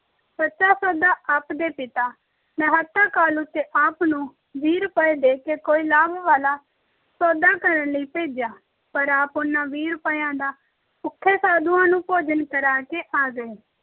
ਸੱਚਾ ਸੌਦਾ ਆਪ ਦੇ ਪਿਤਾ ਮਹਿਤਾ ਕਾਲੂ ਨੇ ਆਪ ਨੂੰ ਵੀਹ ਰੁਪਏ ਦੇ ਕੇ ਕੋਈ ਲਾਭ ਵਾਲਾ ਸੌਦਾ ਕਰਨ ਲਈ ਭੇਜਿਆ, ਪਰ ਆਪ ਉਹਨਾਂ ਵੀਹ ਰੁਪਇਆਂ ਦਾ ਭੁੱਖੇ ਸਾਧੂਆਂ ਨੂੰ ਭੋਜਨ ਕਰਾ ਕੇ ਆ ਗਏ।